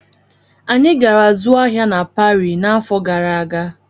Anyị gara zụọ ahịa na Parii n'afọ gara aga.